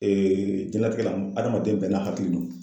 jɛnatigɛ la hadamaden bɛɛ n'a hakili don